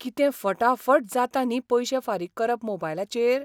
कितें फटाफट जाता न्ही पयशे फारीक करप मोबायलाचेर!